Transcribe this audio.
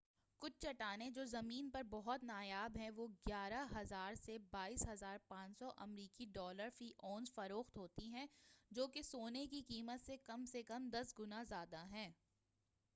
کُچھ چٹانیں، جو زمین پر بہت نایاب ہیں، وہ 11،000 سے 22،500 امریکی ڈالر فی اونس فروخت ہوتی ہیں جو کہ سونے کی قیمت سے کم از کم دس گُنا زیادہ ہے۔